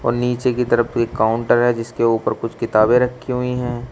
और नीचे की तरफ एक काउंटर है जिसके ऊपर कुछ किताबें रखी हुई हैं।